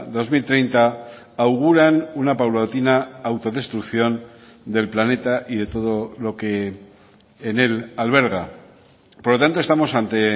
dos mil treinta auguran una paulatina autodestrucción del planeta y de todo lo que en él alberga por lo tanto estamos ante